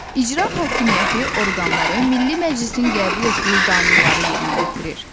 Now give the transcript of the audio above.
İcra hakimiyyəti orqanları Milli Məclisin qəbul etdiyi qanunları yerinə yetirir.